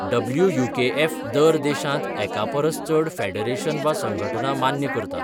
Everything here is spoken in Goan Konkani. डब्ल्यूयूकेएफ दर देशांत एकापरस चड फेडरेशन वा संघटना मान्य करता.